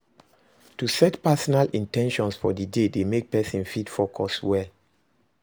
To set personal in ten tions for di day dey make persin fit focus well